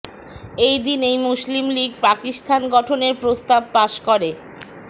এই দিনেই Muslim League Pakistan গঠনের প্রস্তাব পাস করে